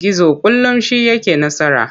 Gizo kullum shi yake nasara.